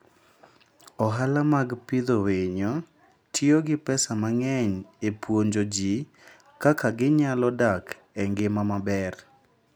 Ohala mag pidho winyo tiyo gi pesa mang'eny e puonjo ji kaka ginyalo dak e ngima maber.